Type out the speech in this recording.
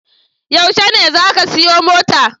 Yaushe ne za ka siya mota?